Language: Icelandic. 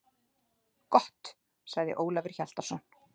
Gott, sagði Ólafur Hjaltason.